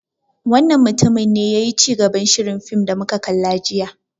Wannan mutumin ne yayi cigaban shirin fim da muka kalla jiya.